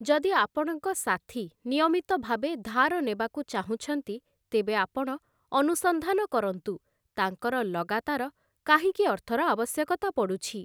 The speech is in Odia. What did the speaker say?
ଯଦି ଆପଣଙ୍କ ସାଥୀ ନିୟମିତ ଭାବେ ଧାର ନେବାକୁ ଚାହୁଁଛନ୍ତି, ତେବେ ଆପଣ ଅନୁସନ୍ଧାନ କରନ୍ତୁ ତାଙ୍କର ଲଗାତାର କାହିଁକି ଅର୍ଥର ଆବଶ୍ୟକତା ପଡ଼ୁଛି ।